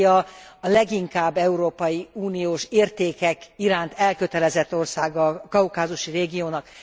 Grúzia a leginkább európai uniós értékek iránt elkötelezett országa a kaukázusi régiónak.